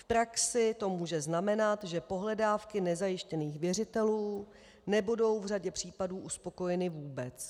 V praxi to může znamenat, že pohledávky nezajištěných věřitelů nebudou v řadě případů uspokojeny vůbec.